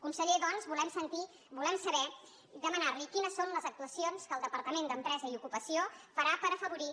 conseller doncs volem sentir volem saber i demanar li quines són les actuacions que el departament d’empresa i ocupació farà per afavorir